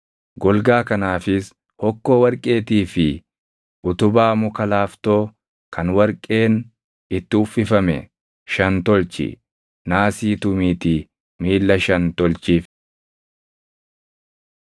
Golgaa kanaafis hokkoo warqeetii fi utubaa muka laaftoo kan warqeen itti uffifame shan tolchi. Naasii tumiitii miilla shan tolchiif.